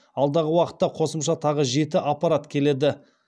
алдағы уақытта қосымша тағы жеті аппарат келеді